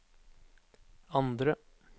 andre